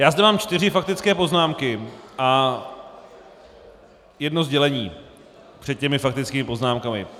Já zde mám čtyři faktické poznámky a jedno sdělení před těmi faktickými poznámkami.